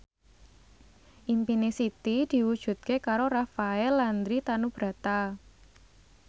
impine Siti diwujudke karo Rafael Landry Tanubrata